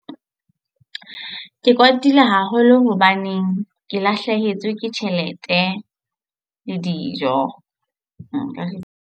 Ke kwatile haholo hobaneng ke lahlehetswe ke tjhelete le dijo. Nka re.